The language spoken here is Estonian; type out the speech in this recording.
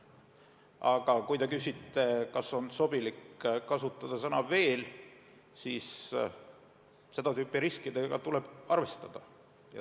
Aga kui te küsite, kas on sobilik kasutada sõna "veel", siis seda tüüpi riskidega tuleb arvestada.